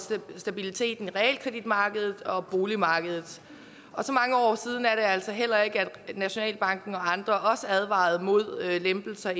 stabiliteten på realkreditmarkedet og boligmarkedet så mange år siden er det altså heller ikke at nationalbanken og andre advarede mod lempelser